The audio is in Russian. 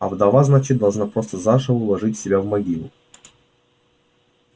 а вдова значит должна просто заживо уложить себя в могилу